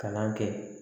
Kalan kɛ